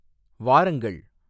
வாரங்கள்